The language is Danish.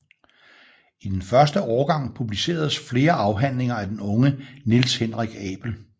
I den første årgang publiceredes flere afhandlinger af den unge Niels Henrik Abel